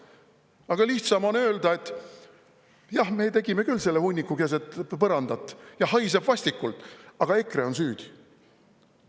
Aga lihtsam on öelda, et jah, me tegime küll selle hunniku keset põrandat ja see haiseb vastikult, aga EKRE on süüdi.